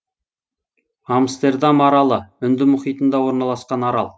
амстердам аралы үнді мұхитында орналсқан арал